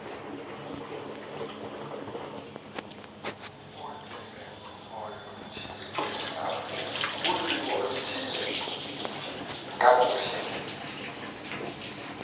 ulwimi oluthile kakuhle